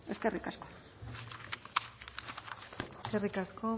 eskerrik asko eskerrik asko